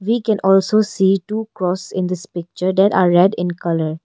We can also see two cross in this picture then red in colour.